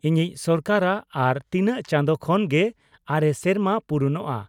ᱤᱧᱤᱧ ᱥᱚᱨᱠᱟᱨᱟᱜ ᱟᱨ ᱛᱤᱱᱟᱝ ᱪᱟᱸᱫᱚ ᱠᱷᱚᱱ ᱜᱮ ᱟᱨᱮ ᱥᱮᱨᱢᱟ ᱯᱩᱨᱩᱱᱚᱜᱼᱟ ᱾